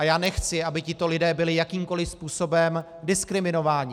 A já nechci, aby tito lidé byli jakýmkoli způsobem diskriminováni.